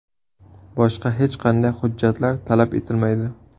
Boshqa hech qanday hujjatlar talab etilmaydi.